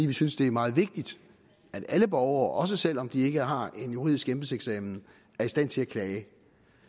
vi synes det er meget vigtigt at alle borgere også selv om de ikke har en juridisk embedseksamen er i stand til at klage